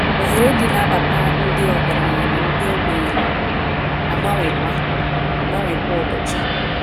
Oghere Dị n’Agbata Ndị Ọgaranya na Ndị Ogbenye Na - abawanye kwa - abawanye kwa ụbochi